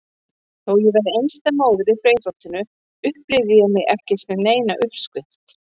Þó ég væri einstæð móðir í Breiðholtinu upplifði ég mig ekki sem neina uppskrift.